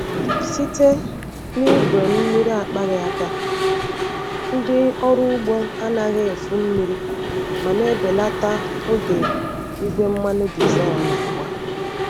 Site na igwe mmiri akpaghị aka, ndị ọrụ ugbo anaghị efu mmiri ma na-ebelata oge igwe mmanụ diesel na-agba.